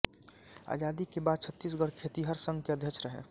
आजादी के बाद छत्तीसगढ़ खेतिहर संघ के अध्यक्ष रहे